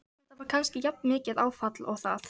Þetta var kannski jafnmikið áfall og það.